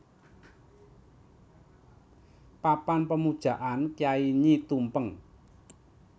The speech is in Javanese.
Papan Pemujaan Kyai Nyi Tumpeng